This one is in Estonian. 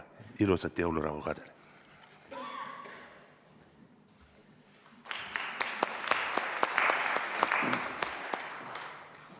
Ilusat jõulurahu ka teile!